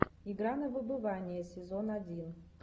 игра на выбывание сезон один